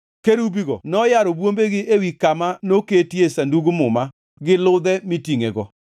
Kerubigo noyaro bwombegi ewi kama noketie Sandug Muma gi ludhe mitingʼego.